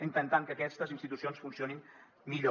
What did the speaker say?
intentant que aquestes institucions funcionin millor